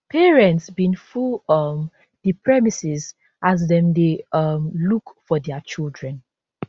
parents bin full um di premises as dem dey um look for dia children